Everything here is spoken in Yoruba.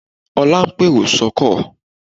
Ọlá ló ń pèrò sọ́kọ̀